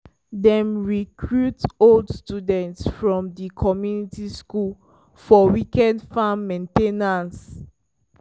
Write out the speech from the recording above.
dem recruit old students from di community school for weekend farm main ten ance.